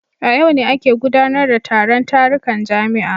A yau ne ake gudanar da taron tarukan jami'a